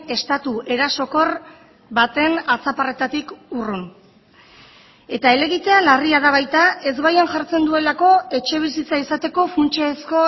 estatu erasokor baten atzaparretatik urrun eta helegitea larria da baita ezbaian jartzen duelako etxebizitza izateko funtsezko